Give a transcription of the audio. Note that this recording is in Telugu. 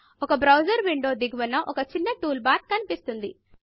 ఒక బ్రౌజరు విండో దిగువన ఒక చిన్న టూల్ బార్ కనిపిస్తుంది